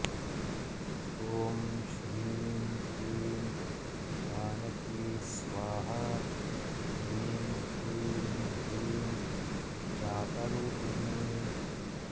ॐ श्रीं क्लीं जानकी स्वाहा श्रीं क्लीं ह्रीं जातरूपिणी